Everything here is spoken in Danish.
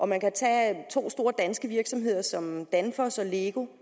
man kan tage to store virksomheder som danfoss og lego